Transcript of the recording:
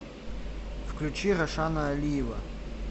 включи рашана алиева